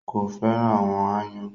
Kò fẹ́ràn àwọn aáyán.